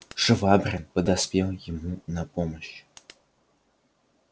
швабрин подоспел ему на помощь